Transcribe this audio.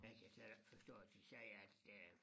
Men jeg kan slet ikke forstå at de siger at øh